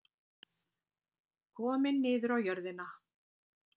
Kominn niður á jörðina.